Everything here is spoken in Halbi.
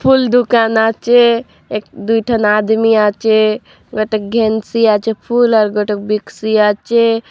फूल दुकान आचे एक दुई थन आदमी आचे फूल कांटे बिक्सीआँ आचे ।